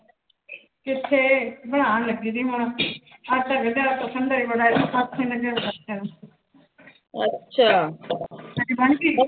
ਕਿੱਥੇ ਬਣਾਉਣ ਲੱਗੀ ਸੀ ਹੁਣ। ਆਟਾ ਗੁੰਨਿਆ। ਤੁਹਾਡੀ ਬਣ ਗੀ